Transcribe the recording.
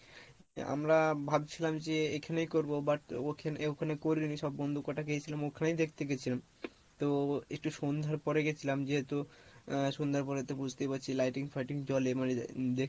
আমরা ভাবছিলাম যে এখানে করবো but ওখানে ওখানে করি নি সব বন্ধু কটা গিয়েছিলাম ওখানেই দেখতে গেছিলাম তো একটু সন্ধ্যার পরে গেছিলাম যেহেতু আহ সন্ধ্যার পরে তো বুঝতেই পারছিস lighting ফাইটিং জলে মানে দেখতে